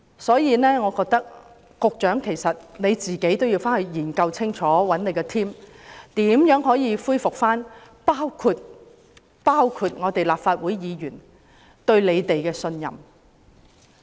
所以，局長要與他的團隊研究清楚，如何恢復市民，包括立法會議員的信心。